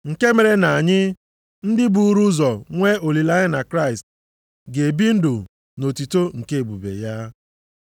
Nke mere na anyị, ndị buuru ụzọ nwee olileanya na Kraịst, ga-ebi ndụ nʼotuto nke ebube ya.